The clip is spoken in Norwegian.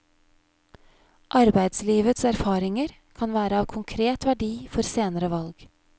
Arbeidslivets erfaringer kan være av konkret verdi for senere valg.